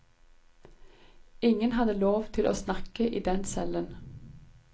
Ingen hadde lov til å snakke i den cellen.